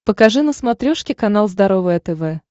покажи на смотрешке канал здоровое тв